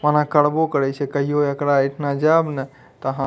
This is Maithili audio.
ओना करबो करे छै कहियो एकरा एठाम जाब ने ते हा --